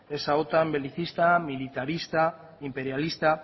esa otan belicista militarista imperialista